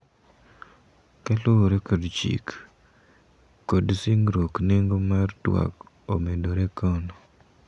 Kaluwore kod chik ,kod singruok nengo mar twak omedore kono.